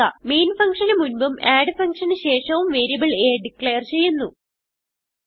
main functionന് മുൻപും add functionന് ശേഷവും വേരിയബിൾ a ഡിക്ലേർ ചെയ്യുന്നു